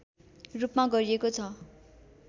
रूपमा गरिएको छ